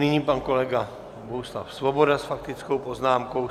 Nyní pan kolega Bohuslav Svoboda s faktickou poznámkou.